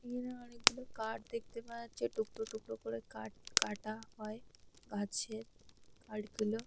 এখানে অনেকগুলো কাঠ দেখতে পাওয়া যাচ্ছে। টুকরো টুকরো করে কাঠ কাটা হয়। গাছের কাঠগুলো।